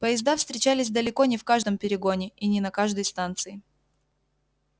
поезда встречались далеко не в каждом перегоне и не на каждой станции